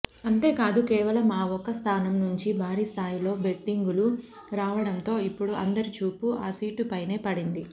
అంతేకాదు కేవలం ఆ ఒక్క స్థానం నుంచీ భారీస్థాయిలో బెట్టింగులు రావడంతో ఇప్పుడు అందరి చూపు ఆ సీటుపైనే పడింది